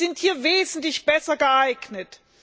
Die sind hier wesentlich besser geeignet.